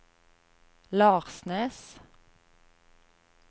Larsnes